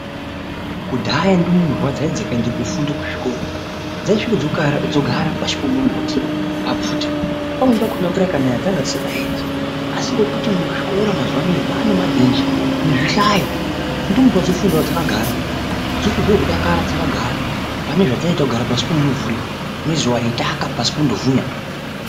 Kudhaya ndumurwa dzaiti dzikaenda kofunda kuzvikora dzaisvika dzogara pashi pemumbiti pabvute. Pamweni pakona mvura ikanaya dzangadzisingaendi. Asi ngekuti muzvikora mazuva anaya manebhenji nezvihlayo ndumurwa dzofundavo dzakagara dzotohwe kudakara dazkagara. Pane zvadzaiita kugara pasi pemumvuri nezuva reitaka pasi pondovhunya.